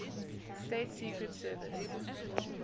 states secret service